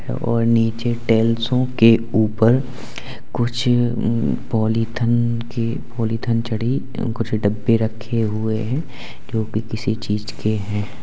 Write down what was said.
और नीचे टेल्सों के ऊपर कुछ उम्म पॉलिथन के पॉलिथन चढ़ी उम्म कुछ डब्बे रखे हुए हैं जो भी किसी चीज के हैं।